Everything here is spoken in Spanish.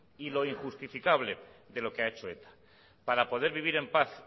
y lo injustificable de lo que ha hecho eta para poder vivir en paz